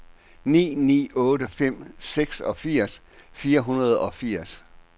ni ni otte fem seksogfirs fire hundrede og firs